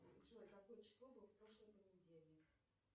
джой какое число было в прошлый понедельник